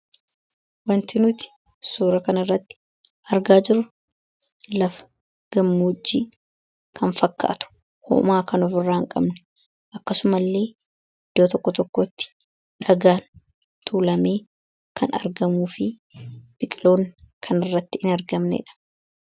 wanti nuti suura kan irratti argaa jiru lafa gammojii kan fakkaatu hoomaa kanof irraa hin qabne, akkasuma illee iddoo tokko tokkotti dhagaan tuulamee kan argamuu fi biqiltoon kan irratti hin argamnedha.